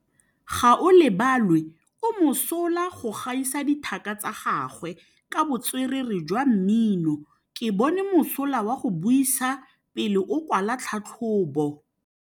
Gaolebalwe o mosola go gaisa dithaka tsa gagwe ka botswerere jwa mmino. Ke bone mosola wa go buisa pele o kwala tlhatlhobô.